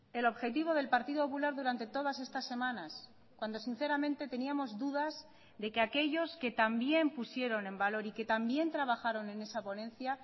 el objetivo del partido popular durante todas estas semanas cuando sinceramente teníamos dudas de que aquellos que también pusieron en valor y que también trabajaron en esa ponencia